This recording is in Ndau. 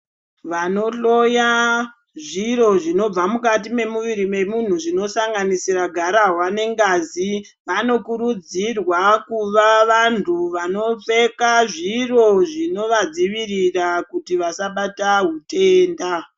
Vanohloya zviro zvinobva mukati memuviri memuntu zvinosanganisira gararwa nengazi, vanokurudzirwa kuva vantu vanopfeka zviro zvinovadzivirira kuti vasabatwa hutenda.